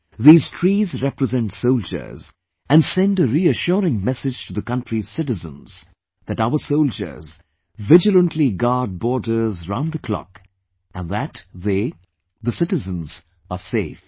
These trees represent soldiers and send a reassuring message to the country's citizens that our soldiers vigilantly guard borders round the clock and that they, the citizens are safe